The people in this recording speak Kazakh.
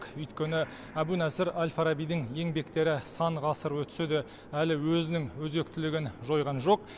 өйткені әбу насыр әл фарабидің еңбектері сан ғасыр өтсе де әлі өзінің өзектілігін жойған жоқ